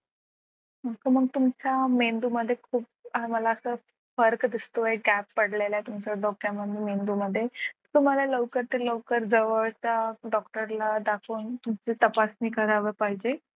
असं तर मग तुमच्या मेंदूमध्ये खूप मला असं फरक दिसतोय त्यात पडलेला तुमच्या डोक्यामध्ये मेंदूमध्ये तुम्हाला लवकरात लवकर जवळचा doctor ला दाखवून तपासणी करायला पाहिजे.